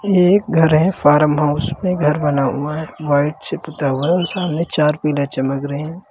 एक घर है फार्म हाउस में घर बना हुआ है व्हाइट से पुता हुआ सामने चार पिलर चमक रहे हैं।